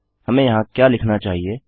हमें यहाँ क्या लिखना चाहिए160